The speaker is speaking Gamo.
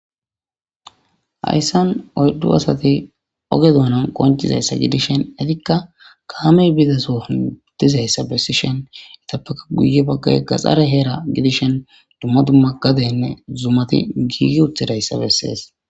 Hayssan oyddu asati oge duunan qoncizayssa gidishen; itikka kaamey biizasohdizayssa bessishen itappeka guye baggay gaxare heera gidishen dumma dumma gadenne zumati giigi uthidayssa bessees.